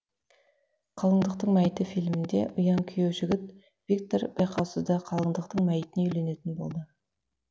қалыңдықтың мәйіті фильмінде ұяң күйеу жігіт виктор байқаусызда қалыңдықтың мәйітіне үйленетін болды